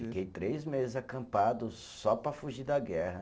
Fiquei três meses acampado só para fugir da guerra.